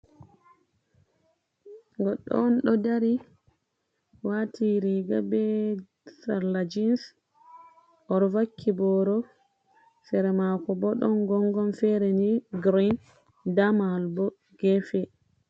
Goɗɗo dodari wati riga be sarla jins odo vakky boro sera mako bo don gongon fere ni grin damahal bo gefe,